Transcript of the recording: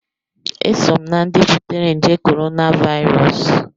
Eso m na-ndị butere nje korona Vairọs